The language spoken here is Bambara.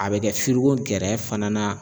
A bi kɛ gɛrɛ fana na